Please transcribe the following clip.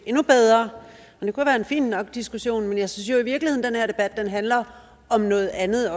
endnu bedre og det kunne være en fin nok diskussion men jeg synes jo i virkeligheden at den handler om noget andet